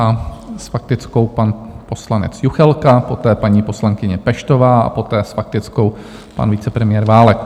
A s faktickou pan poslanec Juchelka, poté paní poslankyně Peštová a poté s faktickou pan vicepremiér Válek.